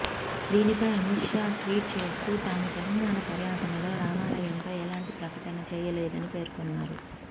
దీనిపై అమిత్ షా ట్వీట్ చేస్తూ తాను తెలంగాణ పర్యటనలో రామాలయంపై ఎలాంటి ప్రకటన చేయలేదని పేర్కొన్నారు